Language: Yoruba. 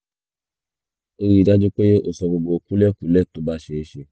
ríi dájú pé o sọ gbogbo kúlẹ̀kúlẹ̀ tó bá ṣeé ṣe